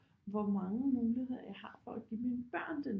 Hvor mange muligheder jeg har for at give mine børn det